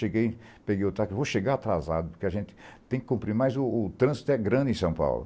Cheguei, peguei o táxi, vou chegar atrasado, porque a gente tem que cumprir, mas o trânsito é grande em São Paulo.